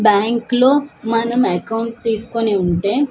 Bank లో మనం account తీసుకొని ఉంటే.